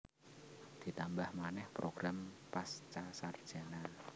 Ditambah manèh program Pascasarjana